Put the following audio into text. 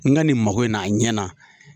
N ka nin mako in na a ɲɛ na.